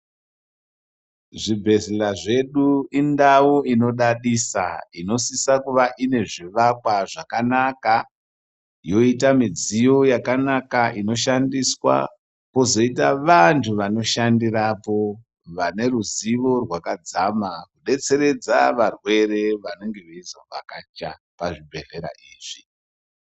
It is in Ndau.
Zvibhedhlera zvedu indau inodadisa inosisa kuva ine zvivakwa zvakana yoita midziyo yakana inoshandiswa pozoita vanhu vanoshandirapo vane ruzivo rwakadzama kudetseredza varwere vanenge veizovhakacha pazvibhedhlera izvi.